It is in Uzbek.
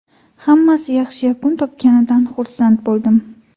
Hammasi yaxshi yakun topganidan xursand bo‘ldim”.